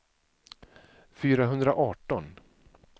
fyrahundraarton